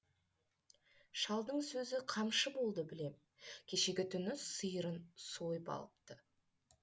шалдың сөзі қамшы болды білем кешегі түні сиырын сойып алыпты